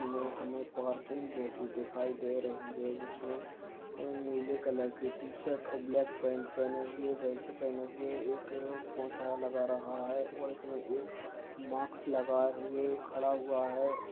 हमे पार्किंग जैसी दिखिई दे रही है जिसमे ये नीले कलर की शर्ट और ब्लाक पॅन्ट पहने हुए बेल्ट पहने हुए एक अ पोछा लगा रहा है इसमे एक मास्क लगाए हुए खड़ा हुआ है।